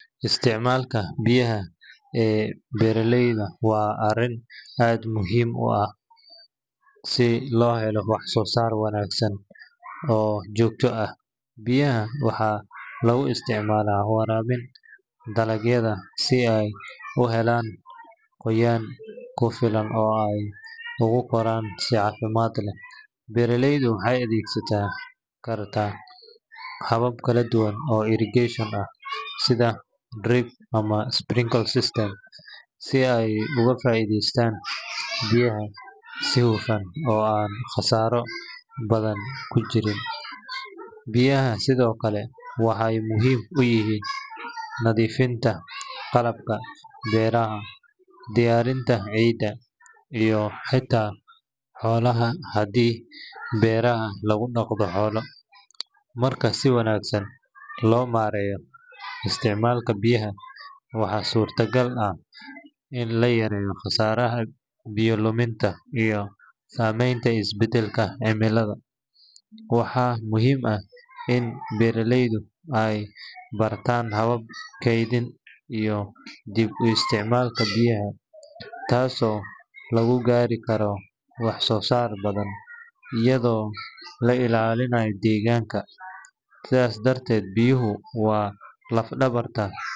Isticmaalka biyaha ee beeraleyda waa arrin aad u muhiim ah si loo helo wax-soo-saar wanaagsan oo joogto ah. Biyaha waxaa lagu isticmaalaa waraabinta dalagyada si ay u helaan qoyaan ku filan oo ay ugu koraan si caafimaad leh. Beeraleydu waxay adeegsan karaan habab kala duwan oo irrigation ah sida drip ama sprinkler systems si ay uga faa’iidaystaan biyaha si hufan oo aan khasaaro badani jirin. Biyaha sidoo kale waxay muhiim u yihiin nadiifinta qalabka beeraha, diyaarinta ciidda, iyo xataa xoolaha haddii beeraha lagu dhaqdo xoolo. Marka si wanaagsan loo maareeyo isticmaalka biyaha, waxaa suurtagal ah in la yareeyo khasaaraha biyo luminta iyo saameynta isbeddelka cimilada. Waxaa muhiim ah in beeraleydu ay bartaan hababka kaydinta iyo dib u isticmaalka biyaha, taasoo lagu gaari karo wax-soo-saar badan iyadoo la ilaalinayo deegaanka. Sidaa darteed, biyuhu waa laf-dhabarta.